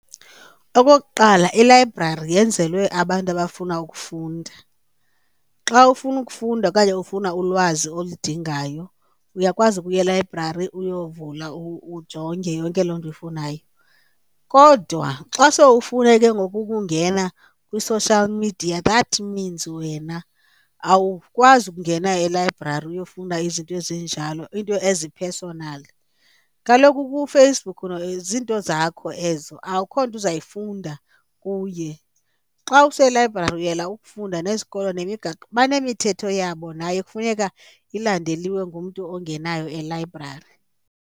Okokuqala, ilayibrari yenzelwe abantu abafuna ukufunda. Xa ufuna ukufunda okanye ufuna ulwazi oludingayo uyakwazi ukuya elayibrari uyovula ujonge yonke loo nto uyifunayo. Kodwa xa sowufuna ke ngoku ukungena kwi-social media that means wena awukwazi ukungena elayibrari uyofuna izinto ezinjalo into ezi-personal. Kaloku kuFacebook zizinto zakho ezo akukho nto uzayifunda kuye, xa uselayibrari uyela ukufunda nesikolo nemigaqo, banemithetho yabo nayo ekufuneka ilandeliwe ngumntu ongenayo elayibrari.